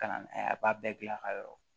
Ka na n'a ye a b'a bɛɛ gilan ka yɔrɔ